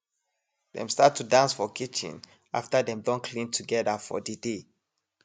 dem start to dance for kitchen after dem don clean together for de day